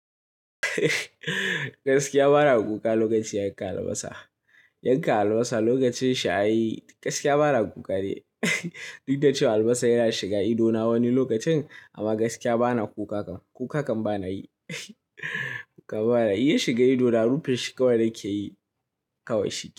Gaskiya ba na kuka lokacin yankan albasa. Yankan albasa lokacin shi ai, gaskiya ba na kuka ni. Duk da cewa albasa yana shiga idona wani lokacin, amma gaskiya ba na kuka kam. Kuka kam ba na yi. Kuka bana yi. Ya shiga idona rufe shi kawai nake yi, kawai shikenan.